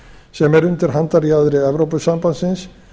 sem er undir handarjaðri evrópusambandsins